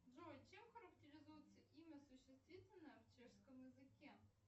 джой чем характеризуется имя существительное в чешском языке